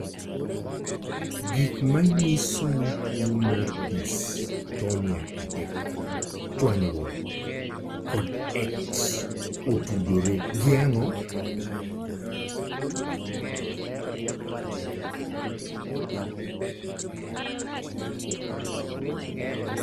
Gik manyiso ni tuwo mar Dystonia 3, chwanyruok, kod X otudore gi ang'o?